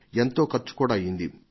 ఎంతో ఖర్చు కూడా అయింది